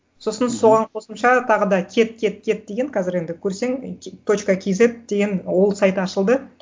сосын соған қосымша тағы да кет кет кет деген қазір енді көрсең і точка кейзет деген ол сайт ашылды